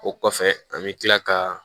O kɔfɛ an bɛ tila ka